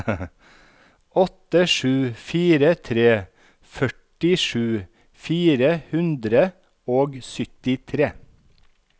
åtte sju fire tre førtisju fire hundre og syttitre